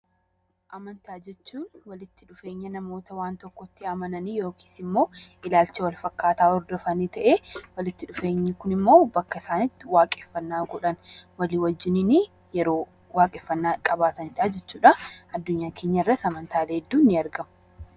Amantaa jechuun walitti dhufeenya namoota waan tokkotti amananii yookiis immoo ilaalcha wal fakkaataa ta'ee, walitti dhufeenyi Kun immoo akka isaan waaqeffannaa godhan walii wajjin yeroo waaqeffannaa godhan jechuudha . Adunyaa keenya irras amantaalee hedduun ni argamu.